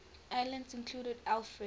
islands included alfred